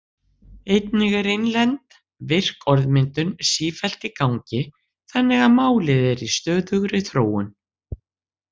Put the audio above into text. Einnig er innlend, virk orðmyndun sífellt í gangi þannig að málið er í stöðugri þróun.